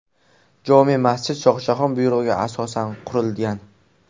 Jome masjid Shohjahon buyrug‘iga asosan qurilgan.